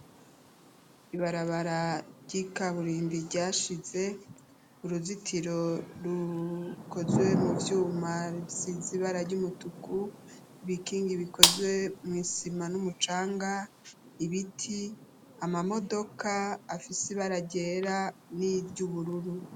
Ibarabara ry'ikaburimbi ryashize uruzitiro rukozwe mu vyuma sizibara ry'umutuku ibikingi bikozwe mw'isima n'umucanga ibiti amamodoka afise ibaragera n'iry’ubururu.